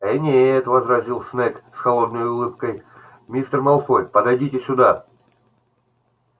ээ нет возразил снегг с холодной улыбкой мистер малфой подойдите сюда